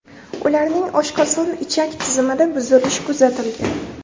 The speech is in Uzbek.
Ularning oshqozon-ichak tizimida buzilish kuzatilgan.